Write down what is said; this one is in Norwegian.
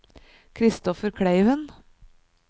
Kristoffer Kleiven